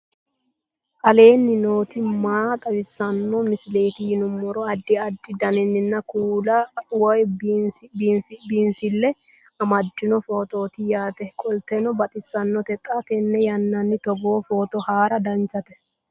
aleenni nooti maa xawisanno misileeti yinummoro addi addi dananna kuula woy biinsille amaddino footooti yaate qoltenno baxissannote xa tenne yannanni togoo footo haara danvchate